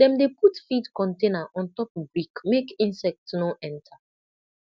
dem dey put feed container on top brick make insect no enter